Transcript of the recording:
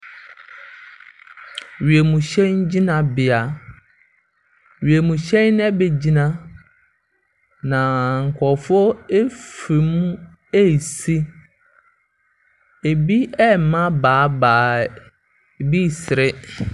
Wiemhyɛn gyinabea. Wiemhyɛn no abɛgyina, na nkurɔfoɔ firi mu resi. Ebi rema baebae. Ebi resere.